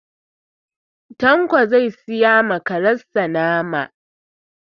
Tanko zai siya ma karen sa nama.